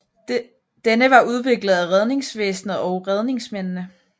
Denne var udviklet af redningsvæsenet og redningsmændene